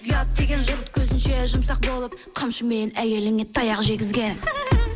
ұят деген жұрт көзінше жұмсақ болып қамшымен әйеліңе таяқ жегізген